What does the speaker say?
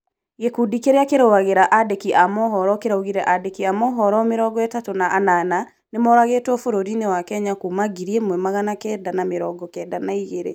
Gikundi kĩrĩa kĩrũagĩrĩra andĩki a mohoro kĩraũgire andĩki a mohoro mĩrongo ĩtatũ na anana nĩmaroragirwo bũrũri- inĩ wa Kenya kuma ngiri imwe magana kenda ma mĩrongo kenda na igĩrĩ